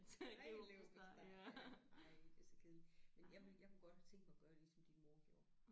Ren leverpostej ej det er så kedeligt men jeg ville jeg kunne godt have tænkt mig at gøre ligesom din mor gjorde